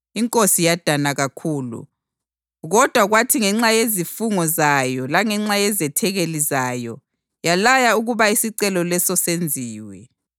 Inkosi yadana kakhulu kodwa kwathi ngenxa yezifungo zayo langenxa yezethekeli zayo yalaya ukuba isicelo leso senziwe,